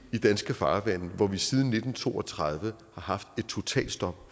i danske farvande hvor vi siden nitten to og tredive har haft et totalt stop